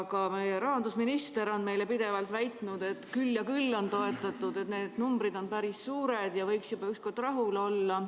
Ka rahandusminister on meile pidevalt väitnud, et küll ja küll on toetatud, need numbrid on päris suured ja võiks juba ükskord rahul olla.